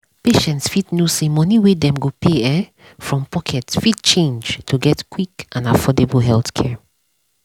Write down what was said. patients fit know say money wey dem go pay um from pocket fit change to get quick and affordable healthcare.